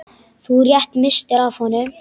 Þú rétt misstir af honum.